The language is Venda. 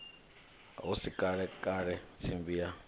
hu si kalekale tsimbi ya